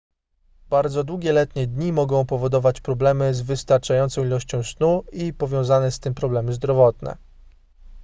bardzo długie letnie dni mogą powodować problemy z wystarczającą ilością snu i powiązane z tym problemy zdrowotne